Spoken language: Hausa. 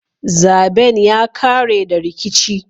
Zaben ya kare da rikici.